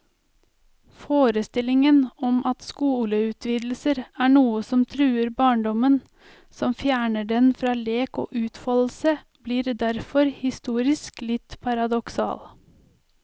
Forestillingen om at skoleutvidelser er noe som truer barndommen, som fjerner den fra lek og utfoldelse, blir derfor historisk litt paradoksal.